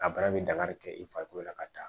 A baara bɛ daga de kɛ i farikolo la ka taa